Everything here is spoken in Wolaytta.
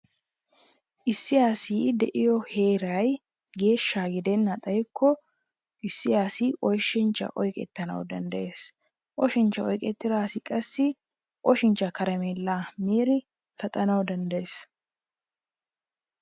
Issi asi de'iyo heeray geeshsha gidana xayikko issi asi oshinchchaa oyqqetanawu danddayees. Oshinchchan oyqettida asi qassi oshinchchaa karmeelaa miidi paxanawu danddayees.